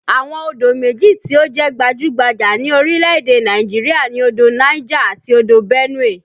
Àwọn odò méjì tí ó jẹ́ gbajú-gbajà ní orílè-èdè Nàìjirià ni odò Niger àti odò Benue